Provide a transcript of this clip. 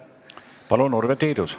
Palun, Urve Tiidus!